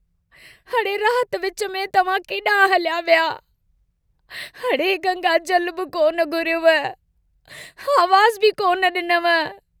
अड़े रात विच में तव्हां केडांहुं हलिया विया... अड़े गंगा जलु बि कोन घुरियव... आवाज़ बि कोन डिनव...।